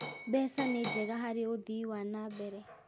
Mbeca nĩ njega harĩ ũthii wa na mbere